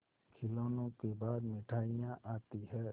खिलौनों के बाद मिठाइयाँ आती हैं